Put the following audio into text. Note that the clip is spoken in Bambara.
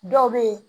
Dɔw bɛ yen